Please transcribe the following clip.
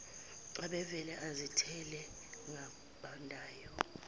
ubevele azithele ngabandayo